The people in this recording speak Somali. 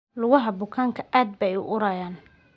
Lugaha bukaanka aad bay u urayaan.